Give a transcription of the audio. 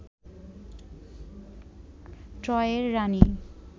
ট্রয়ের রানী